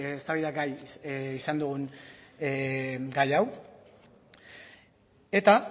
eztabaidagai izan dugun gai hau eta